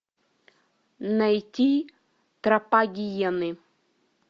найти тропа гиены